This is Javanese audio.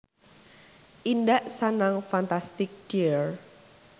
Indak Sanang Fantastic dear